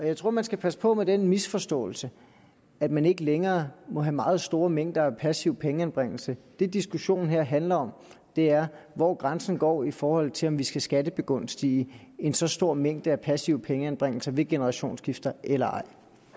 jeg tror man skal passe på med den misforståelse at man ikke længere må have meget store mængder af passiv pengeanbringelse det diskussionen her handler om er hvor grænsen går i forhold til om vi skal skattebegunstige en så stor mængde af passive pengeanbringelser ved generationsskifter eller ej